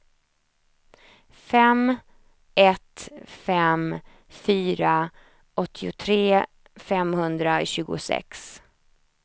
fem ett fem fyra åttiotre femhundratjugosex